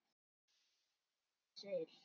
Jú, ég skil.